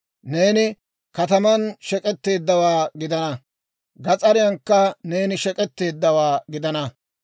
«Neeni kataman shek'etteeddawaa gidana; gas'ariyankka neeni shek'etteeddawaa gidana.